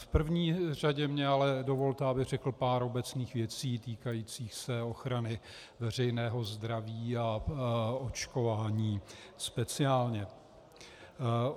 V první řadě mně ale dovolte, abych řekl pár obecných věcí týkajících se ochrany veřejného zdraví a očkování speciálně.